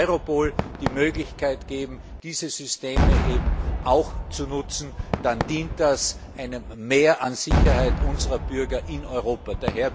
Wenn wir Europol die Möglichkeit geben, diese Systeme zu nutzen, dann dient das einem Mehr an Sicherheit unserer Bürger in Europa.